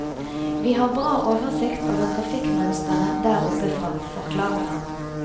Vi har bra oversikt over trafikkmønsteret der oppe fra, forklarer han.